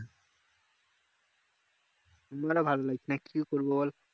আমারও ভালো লাগছে না কি করবো বল